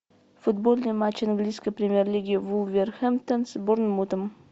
футбольный матч английской премьер лиги вулверхэмптон с борнмутом